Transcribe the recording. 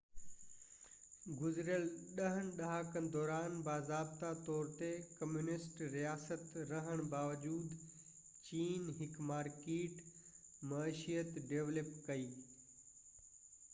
گذريل ٽن ڏهاڪن دوران باضابطه طور تي ڪميونسٽ رياست رهڻ باوجود چين هڪ مارڪيٽ معيشت ڊولپ ڪئي